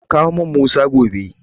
Ka kawo min Musa gobe.